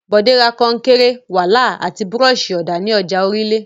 Bọ̀dé ra kọnkéré, wàláà àti búrọ́ṣì-ọ̀dà ní ọjà Orílé.